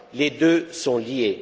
Les deux sont liés.